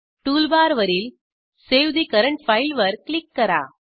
टूलबारवरील save the current file वर क्लिक करा